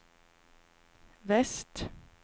väst